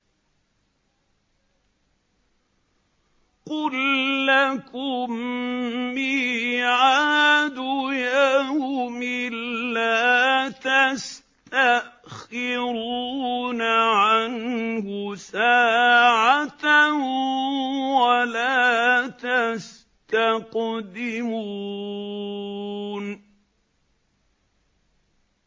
قُل لَّكُم مِّيعَادُ يَوْمٍ لَّا تَسْتَأْخِرُونَ عَنْهُ سَاعَةً وَلَا تَسْتَقْدِمُونَ